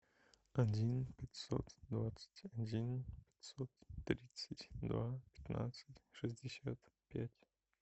один пятьсот двадцать один пятьсот тридцать два пятнадцать шестьдесят пять